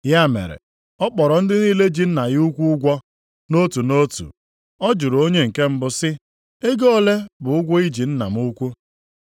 “Ya mere ọ kpọrọ ndị niile ji nna ya ukwu ụgwọ nʼotu nʼotu. Ọ jụrụ onye nke mbụ sị, ‘Ego ole bụ ụgwọ i ji nna m ukwu?’